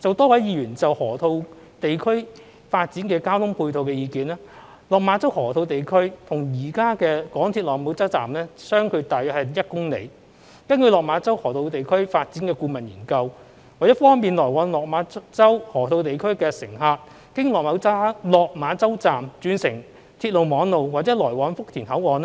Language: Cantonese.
就多位議員就河套地區發展的交通配套的意見，落馬洲河套地區與現有港鐵落馬洲站相距大約1公里，根據落馬洲河套地區發展的顧問研究，為方便來往落馬洲河套地區的乘客經落馬洲站轉乘鐵路網絡或來往福田口岸，